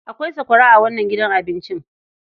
Akwai sakwara a wannnan gidan cin abinci.